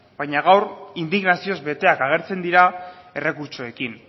baina gaur indignazioz beteak agertzen dira errekurtsoekin